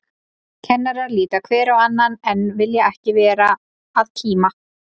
Kennarar líta hver á annan, en vilja ekki vera að kíma.